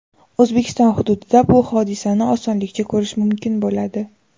O‘zbekiston hududida bu hodisani osonlikcha ko‘rish mumkin bo‘ladi.